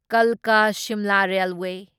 ꯀꯜꯀꯥ Shimla railway